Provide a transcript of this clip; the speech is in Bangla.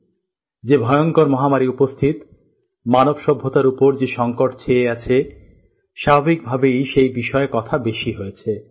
স্বাভাবিকভাবেই যে ভয়ংকর মহামারী উপস্থিত মানব সভ্যতার উপর যে সংকট ছেয়ে আছে স্বাভাবিকভাবেই সেই বিষয়ে কথা বেশী হয়েছে